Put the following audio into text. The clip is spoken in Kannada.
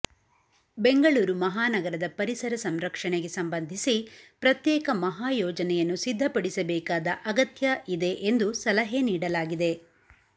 ಬೆಂಗಳೂರು ಮಹಾನಗರದ ಪರಿಸರ ಸಂರಕ್ಷಣೆಗೆ ಸಂಬಂಧಿಸಿ ಪ್ರತ್ಯೇಕ ಮಹಾಯೋಜನೆಯನ್ನು ಸಿದ್ಧಪಡಿಸಬೇಕಾದ ಅಗತ್ಯ ಇದೆ ಎಂದು ಸಲಹೆ ನೀಡಲಾಗಿದೆ